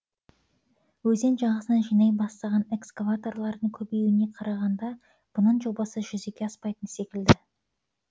өзен жағасына жинай бастаған экскаваторлардың көбеюіне қарағанда бұның жобасы жүзеге аспайтын секілді